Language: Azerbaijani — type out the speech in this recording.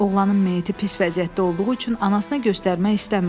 Oğlanın meyiti pis vəziyyətdə olduğu üçün anasına göstərmək istəmirdilər.